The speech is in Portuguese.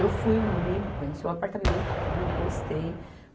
Eu fui no domingo, conheci o apartamento, tudo, gostei.